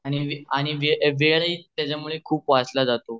आणि वेळाही त्यामुळे खूप वाचला जातो